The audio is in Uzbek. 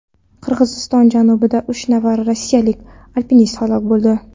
Qirg‘iziston janubida uch nafar rossiyalik alpinist halok bo‘ldi.